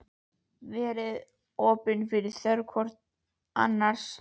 Verið opin fyrir þörfum hvort annars.